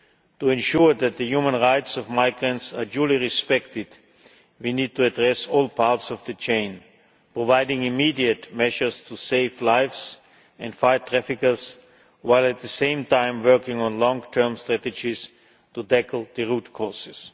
To ensure that the human rights of migrants are duly respected, we need to address all parts of the chain, providing immediate measures to save lives and fight traffickers while at the same time working on long term strategies to tackle the root causes.